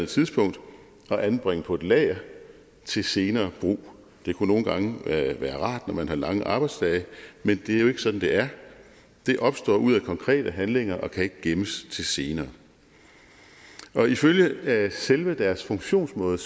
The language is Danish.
tidspunkt og anbringe på et lager til senere brug det kunne nogle gange være rart når man har lange arbejdsdage men det er jo ikke sådan det er den opstår ud af konkrete handlinger og kan ikke gemmes til senere ifølge selve deres funktionsmåde